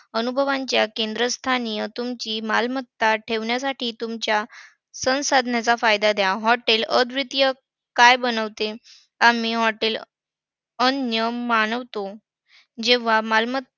अनुभवांच्या केंद्रस्थानी अं तुमची मालमत्ता ठेवण्यासाठी तुमच्या संसाधनांचा फायदा द्या. Hotel अद्वितीय काय बनवते? आम्ही hotel अनन्य मानवतो. जेव्हा मालमत्ता~